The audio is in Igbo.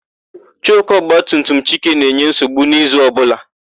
Choku ọgbatumtum Chike na-enye nsogbu n'izu ọbụla.